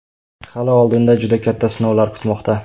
Hali oldinda juda katta sinovlar kutmoqda”.